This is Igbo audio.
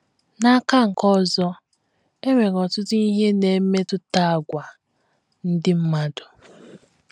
N’aka nke ọzọ, e nwere ọtụtụ ihe na - emetụta àgwà ndị mmadụ.